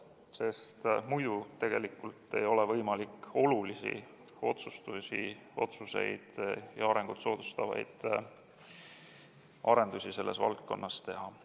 Sest muidu tegelikult ei ole võimalik olulisi otsuseid ja arengut soodustavaid arendusi selles valdkonnas teha.